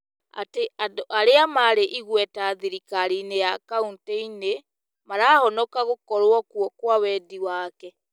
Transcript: atĩ andũ arĩa marĩ igweta thirikari-inĩ ya kauntĩ-inĩ marahonoka gũkorwo kuo kwa wendi wake.